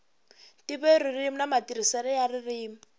ntivoririmi na matirhiselo ya ririmi